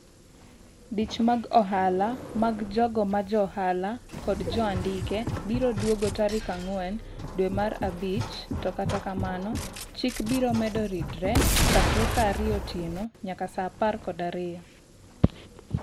dich mag ohala mag jogo majohala kod joandike biro duogo tarik ang'wen dwe mar abich, to kata kamano chik biro medo ridre. chakre saa ariyo otieno nyaka saa apar kod ariyo.